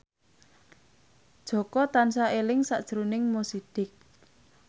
Jaka tansah eling sakjroning Mo Sidik